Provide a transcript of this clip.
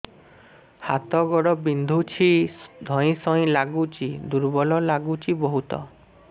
ହାତ ଗୋଡ ବିନ୍ଧୁଛି ଧଇଁସଇଁ ଲାଗୁଚି ଦୁର୍ବଳ ଲାଗୁଚି ବହୁତ